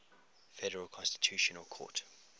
federal constitutional court